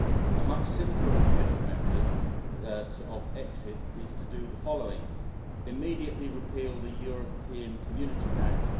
A much simpler and quicker method, that of exit, is to do the following immediately repeal the European Communities Act